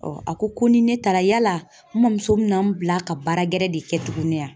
a ko ko ni ne taara yala n mɔmuso min na n bila ka baara gɛrɛ de kɛ tuguni wa